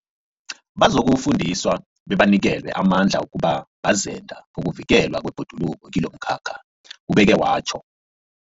Bazokufundiswa bebanikelwe amandla wokuba bazenda bokuvikelwa kwebhoduluko kilomkhakha, ubeke watjho.